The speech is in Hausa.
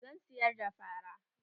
Zan siyar da fara.